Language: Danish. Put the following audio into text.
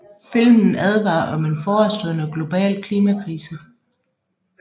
Filmen advarer om en forestående global klimakrise